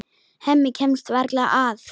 Hemmi kemst varla að.